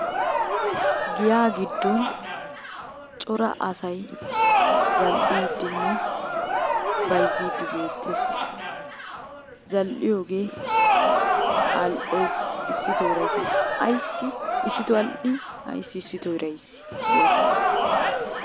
Giyaa giddon cora asay zal"idinne bayzzidi beettees. Za"iyooge al"essi issitto hiraysses. Ayssi issitoo al"ii? Ayssi issitoo hirayssi yootite.